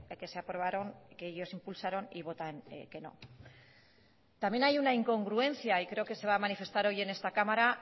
que se aprobaron que ellos impulsaron y votan que no también hay una incongruencia y creo que se va a manifestar hoy en esta cámara